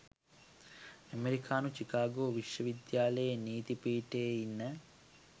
ඇමරිකානු චිකාගෝ විශ්වවිද්‍යාලයේ නීති පීඨයේ ඉන්න